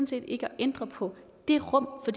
set ikke at ændre på det rum for